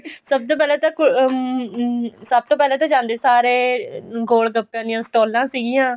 ਸਭ ਤੋਂ ਪਹਿਲਾਂ ਹਮ ਸਭ ਤੋ ਪਹਿਲਾਂ ਜਾਂਦੇ ਸਾਰ ਏ ਗੋਲ ਗੱਪਿਆ ਦੀਆ ਸਟੋਲਾਂ ਸੀਗੀਆਂ